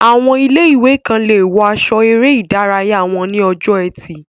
Àwọn ilé-ìwé kan lè wọ aṣọ eré ìdárayá wọn ní ọjọ́ ẹtì